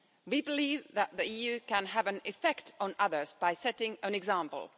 We believe that the EU can have an effect on others by setting an example.